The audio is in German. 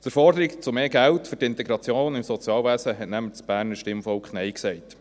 Zur Forderung nach mehr Geld für die Integration im Sozialwesen hat das Berner Stimmvolk nämlich Nein gesagt.